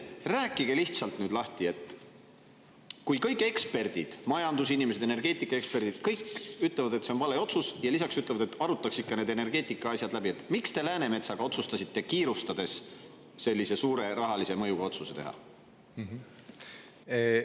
Rääkige nüüd lahti, et kui kõik eksperdid – majandusinimesed, energeetikaeksperdid, kõik – ütlevad, et see on vale otsus, ja lisaks ütlevad, et arutaks ikka need energeetikaasjad läbi, siis miks te otsustasite Läänemetsaga kiirustades sellise suure rahalise mõjuga otsuse teha?